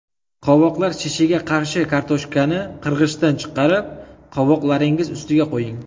Qovoqlar shishiga qarshi Kartoshkani qirg‘ichdan chiqarib qovoqlaringiz ustiga qo‘ying.